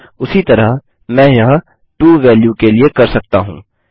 उसी तरह मैं यह टो वेल्यू के लिए कर सकता हूँ